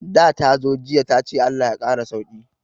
Da tazo jiya tace Allah ya kara sauki